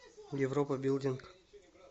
европа билдинг